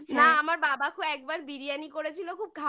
না আমার বাবাকেও একবার biryani করেছিল খুব খারাপ